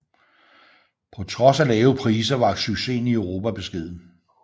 På trods af lave priser var succesen i Europa beskeden